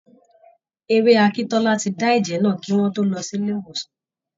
Ewé akíntọ́lá ti dá ẹ́jẹ́ náà, kí wọ́n tó lọ sí ilé ìwòsàn.